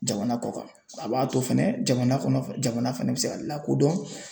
Jamana kɔ kan a b'a to fɛnɛ jamana kɔnɔ jamana fana bɛ se ka lakodɔn